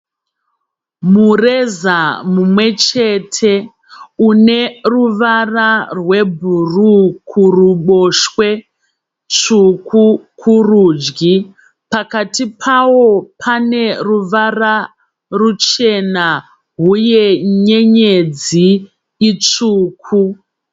Mureza mumwechete uneruvara rwebhuruwu kuruboshwe, tsvuku kurudyi. Pakati pawo paneruvara ruchena uye nyernyedzi itsvuku.